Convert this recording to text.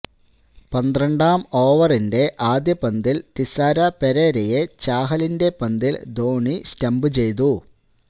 പന്ത്രണ്ടാം ഓവറിന്റെ ആദ്യ പന്തിൽ തിസാര പെരേരയെ ചാഹലിന്റെ പന്തിൽ ധോണി സ്റ്റംപു ചെയ്തു